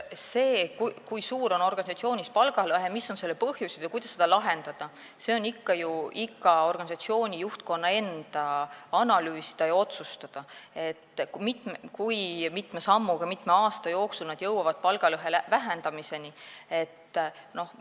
See, kui suur on organisatsioonis palgalõhe, mis on selle põhjused ja kuidas seda probleemi lahendada, on ju ikka iga organisatsiooni juhtkonna enda analüüsida ja otsustada, kui mitme sammuga ja kui mitme aasta jooksul nad palgalõhe vähendamiseni jõuavad.